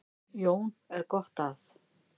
Jón er gott að